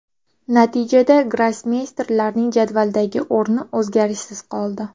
Natijada grossmeysterlarning jadvaldagi o‘rni o‘zgarishsiz qoldi.